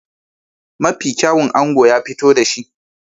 Mafi kyawun ango ya fito da shi.